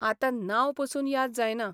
आतां नांवपसून याद जायना.